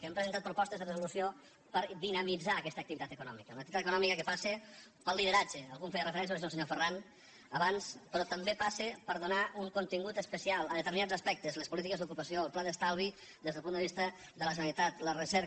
hem presentat propostes de resolució per dinamitzar aquesta activitat econòmica una activitat econòmica que passa pel lideratge algú hi feia referència no sé si el senyor ferran abans però també passa per donar un contingut especial a determinats aspectes les polítiques d’ocupació el pla d’estalvi des del punt de vista de la generalitat la recerca